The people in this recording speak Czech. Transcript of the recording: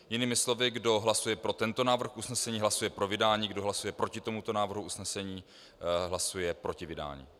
Jinými slovy, kdo hlasuje pro tento návrh usnesení, hlasuje pro vydání, kdo hlasuje proti tomuto návrhu usnesení, hlasuje proti vydání.